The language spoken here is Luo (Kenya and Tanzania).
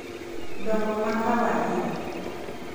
dongo ma kawaida